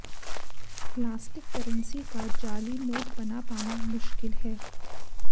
plastic currency का जाली note बना पाना मुश्किल है